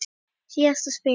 Síðasta spilið.